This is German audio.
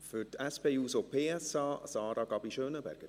Für die SP-JUSO-PSA, Sarah Gabi Schönenberger.